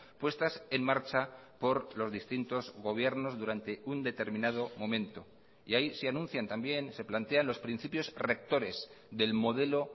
puestas en marcha por los distintos gobiernos durante un determinado momento y ahí se anuncian también se plantean los principios rectores del modelo